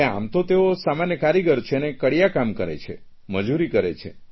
આમ તો તેઓ સામાન્ય કારીગર છે અને કડિયાકામ કરે છે મજૂરી કરે છે